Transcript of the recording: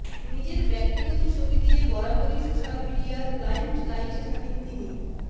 নিজের ব্যক্তিগত ছবি দিয়ে বরাবরই সোশ্যাল মিডিয়ার লাইমলাইটে থাকেন তিনি